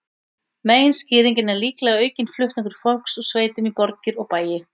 Meginskýringin er líklega aukinn flutningur fólks úr sveitum í borgir og bæi.